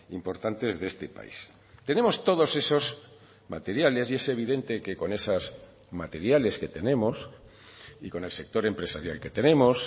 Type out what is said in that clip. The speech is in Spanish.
importantes de este país tenemos todos esos materiales y es evidente que con esas materiales que tenemos y con el sector empresarial que tenemos